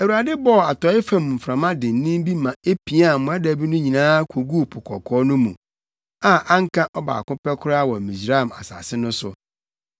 Awurade bɔɔ atɔe fam mframa dennen bi ma epiaa mmoadabi no nyinaa koguu Po Kɔkɔɔ no mu, a anka ɔbaako pɛ koraa wɔ Misraim asase no so.